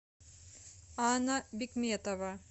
анна бекметова